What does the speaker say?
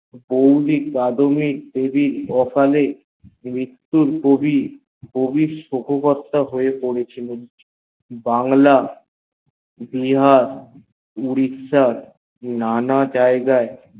বৌদি কাদম্বিনী দেবীর অকনে মৃতটুর পরে কবি সককটা হয়ে পড়েছিলেন এবং বাংলা বিহার উড়িশশর না না যায়েগে